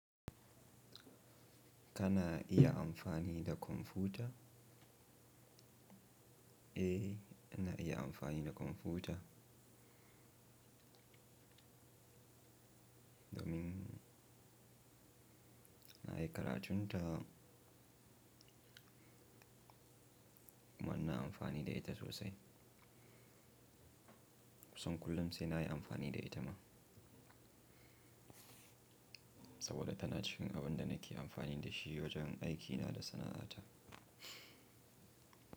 Kana iya amfani da kwamfuta? Eh, ina iya amfani da kwamfuta. Domin nayi karatun ta kuma inna amfani da ita sosai. Kussan kullum sai nayi amfani da ita ma. Saboda tana cikin abin da nake amfani da shi wajen aikina da sana'ata.